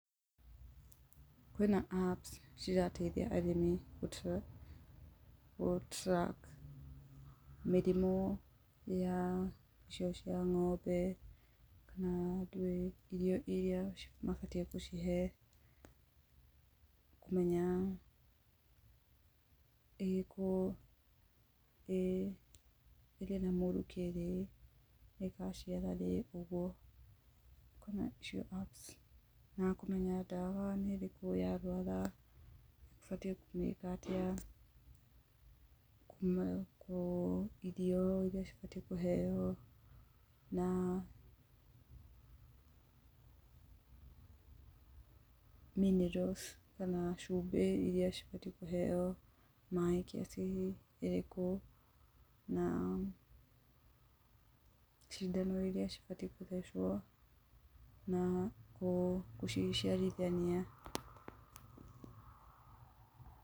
Kwĩna apps cirateithia arĩmĩ gũ track mĩrimũ ya icio cia ng'ombe na ndwĩ, kana andũ irio iria mabatiĩ gũcihe, kũmenya ĩrĩ na mũrukĩ rĩ, ĩgaciara rĩ, ũguo, kwĩna icio apps na kũmenya ndawa nĩ ĩrĩkũ yarwara, ũbatiĩ kũmĩka atĩa, irio iria cibatiĩ kũheo na minerals kana cumbĩ iria cibatiĩ kũheo na maĩ kiasi irikũ, na, cindano iria ibatiĩ gũthecwo na gũ, gũciciarithania.